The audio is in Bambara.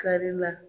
Kari la